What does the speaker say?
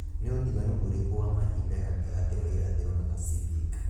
ni ūtiganu ūrīkū wa mahinda gatagati wa irathīro na pasifik